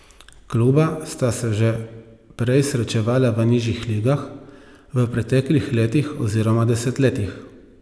Kluba sta se že prej srečevala v nižjih ligah, v preteklih letih oziroma desetletjih.